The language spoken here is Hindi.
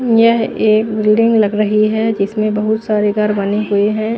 यह एक बिल्डिंग लग रही है जिसमें बहुत सारे गर बने हुए हैं।